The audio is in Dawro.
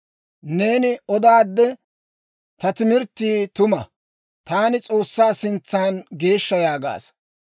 Neeni odaadde, ‹Ta timirttii tuma; taani S'oossaa sintsan geeshsha› yaagaasa.